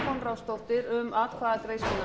hér verða greidd atkvæði